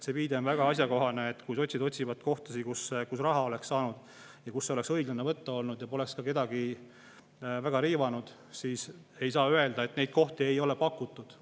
See viide on väga asjakohane, et kui sotsid otsivad kohta, kust raha oleks saanud võtta, kust oleks õiglane olnud võtta ja mis poleks kedagi väga riivanud, siis ei saa öelda, et neid kohti ei ole pakutud.